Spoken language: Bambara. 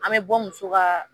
An bɛ bɔ muso ka